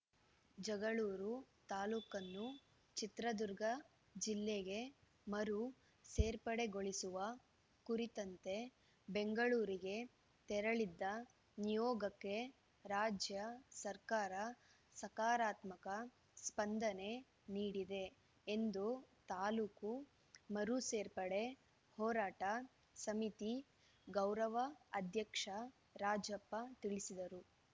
ಜಗಳೂರು ತಾಲೂಕನ್ನು ಚಿತ್ರದುರ್ಗ ಜಿಲ್ಲೆಗೆ ಮರು ಸೇರ್ಪಡೆಗೊಳಿಸುವ ಕುರಿತಂತೆ ಬೆಂಗಳೂರಿಗೆ ತೆರಳಿದ್ದ ನಿಯೋಗಕ್ಕೆ ರಾಜ್ಯ ಸರ್ಕಾರ ಸಕಾರಾತ್ಮಕ ಸ್ಪಂದನೆ ನೀಡಿದೆ ಎಂದು ತಾಲೂಕು ಮರು ಸೇರ್ಪಡೆ ಹೋರಾಟ ಸಮಿತಿ ಗೌರವ ಅಧ್ಯಕ್ಷ ರಾಜಪ್ಪ ತಿಳಿಸಿದರು